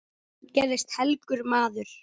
Hann gerðist helgur maður.